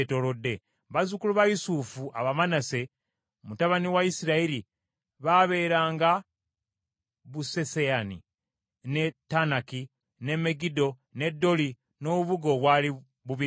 Bazzukulu ba Yusufu, Abamanase, mutabani wa Isirayiri babeeranga Besuseyani, n’e Taanaki, n’e Megiddo, n’e Doli n’obubuga obwali bubiriranye.